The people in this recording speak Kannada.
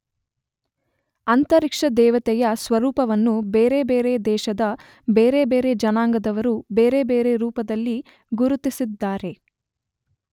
ಅಂತರಿಕ್ಷದೇವತೆಯ ಸ್ವರೂಪವನ್ನು ಬೇರೆ ಬೇರೆ ದೇಶದ ಬೇರೆ ಬೇರೆ ಜನಾಂಗದವರು ಬೇರೆ ಬೇರೆ ರೂಪದಲ್ಲಿ ಗುರುತಿಸಿದ್ದಾರೆ.